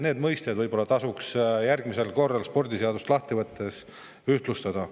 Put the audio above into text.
Need mõisted võib-olla tasuks järgmisel korral spordiseadust lahti võttes ühtlustada.